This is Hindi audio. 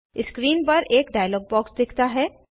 स्क्रीन पर एक डायलॉग बॉक्स दिखता है